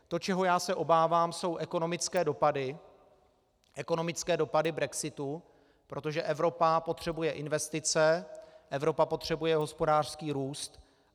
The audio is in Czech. To, čeho já se obávám, jsou ekonomické dopady brexitu, protože Evropa potřebuje investice, Evropa potřebuje hospodářský růst.